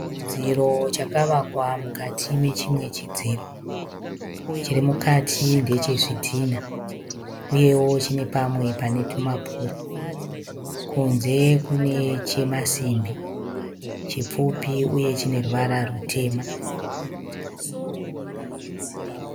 Chidziro chakavakwa mukati mechimwe chidziro. Chiri mukati ndechezvidhina uyewo chine pamwe pane tumapuri. Kunze kune chemasimbi, chipfupi uye chine ruvara rutema.